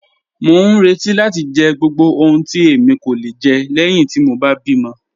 Mọ n rẹti láti jẹ gbogbo ohun tí èmi kò le jẹ lẹ́ẹ̀hin ti mọ bá bí mọ̀.